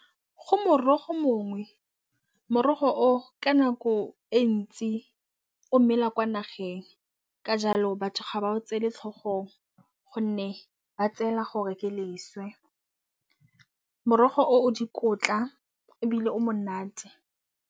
Go morogo mongwe morogo o ka nako e ntsi o mmela kwa nageng ka jalo batho ga ba o tsele tlhogong, gonne ba tseela gore ke leswe morogo o dikotla ebile o monate.